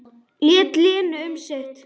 Lét Lenu um sitt.